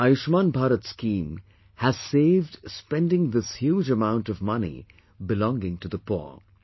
The 'Ayushman Bharat' scheme has saved spending this huge amount of money belonging to the poor